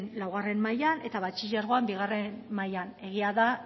laugarren mailan eta batxilergoan bigarren mailan egia da